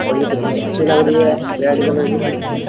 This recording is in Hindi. और ये कितनी अच्छी लग रही है रेड कलर की --